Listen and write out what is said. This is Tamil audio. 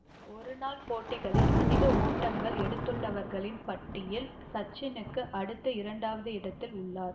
ஒருநாள் போட்டிகளில் அதிக ஓட்டங்கள் எடுத்துள்ளவர்களின் பட்டியலில் சச்சினுக்கு அடுத்து இரண்டாவது இடத்தில் உள்ளார்